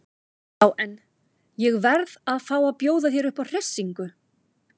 Já en. ég verð að fá að bjóða þér upp á hressingu!